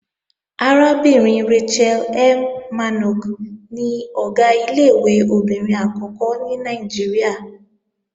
Arábìnrin Rachel M. Mannok ni Ọ̀gá ilé-ìwé obìnrin àkọ́kọ́ ní Nàìjíríà